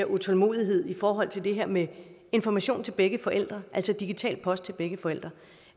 utålmodig i forhold til det her med information til begge forældre altså digital post til begge forældre